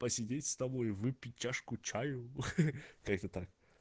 посидеть с тобой выпить чашку чаю ха-ха как то так